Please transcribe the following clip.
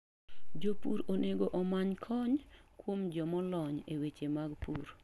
Jopur onego omany kony kuom jo molony e weche mag pur.